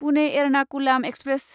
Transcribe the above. Pune Ernakulam express